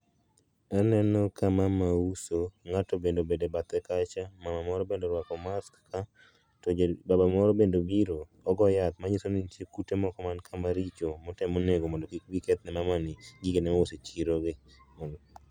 Aneno ka mama uso, ng'ato bende obet e bathe kacha, mama moro bende orwako mask ka, to baba moro bende biro , ogo yath manyiso ni nitie kute moko ma nikaa maricho motemo nego mondo kik bii keth ne mamani gige ma ouso e chirogi